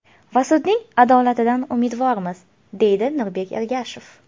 Va sudning adolatidan umidvormiz”, deydi Nurbek Ergashev.